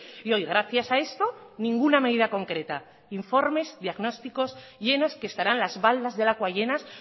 y hoy gracias a esto ninguna medida concreta informes diagnósticos llenos que estarán las baldas de lakua llenas